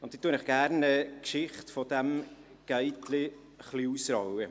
Ich rolle Ihnen gerne die Geschichte dieses «Gate-chens» ein wenig auf.